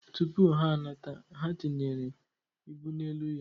Tụpụ ha anata, ha tinyekwere ibu n'elu ya.